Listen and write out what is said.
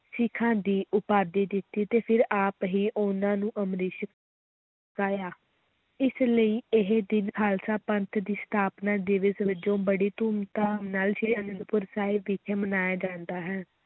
ਸਿੱਖਾਂ ਦੀ ਉਪਾਧੀ ਦਿੱਤੀ ਤੇ ਫਿਰ ਆਪ ਹੀ ਉਨ੍ਹਾਂ ਨੂੰ ਅੰਮ੍ਰਿਤ ਛਕਾਇਆ, ਇਸ ਲਈ ਇਹ ਦਿਨ ਖ਼ਾਲਸਾ ਪੰਥ ਦੀ ਸਥਾਪਨਾ ਦਿਵਸ ਵਜੋਂ ਬੜੀ ਧੂਮ-ਧਾਮ ਨਾਲ ਸ੍ਰੀ ਅਨੰਦਪੁਰ ਸਾਹਿਬ ਵਿਖੇ ਮਨਾਇਆ ਜਾਂਦਾ ਹੈ।